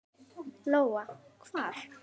Lóa: Hvar?